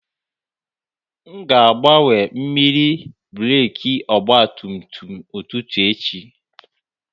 M ga-agbanwe mmiri breeki ọgba tum tum ụtụtụ echi